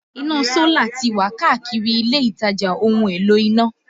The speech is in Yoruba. Iná Sólà tí wà káàkiri ilé-ìtajà ohun-èlò iná